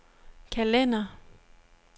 kalender